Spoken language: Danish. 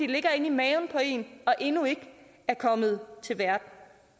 det ligger inde i maven på en og endnu ikke er kommet til verden